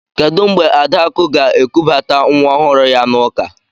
Kedụ mgbe Adakụ ga-ekubata nwa ọhụrụ ya n'ụka?